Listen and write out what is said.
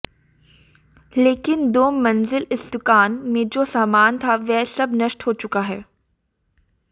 लेकिन दो मंजिल इस दुकान में जो सामान था वह सब नष्ट हो चुका है